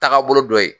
Taagabolo dɔ ye